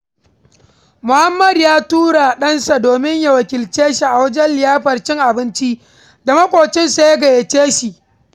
Muhammadu ya tura ɗansa domin ya wakilce shi a wajen liyafar cin abincin da maƙocinsa ya gayyace shi.